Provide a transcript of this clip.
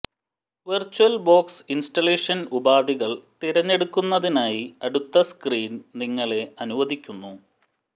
VirtualBox installation ഉപാധികൾ തിരഞ്ഞെടുക്കുന്നതിനായി അടുത്ത സ്ക്രീൻ നിങ്ങളെ അനുവദിക്കുന്നു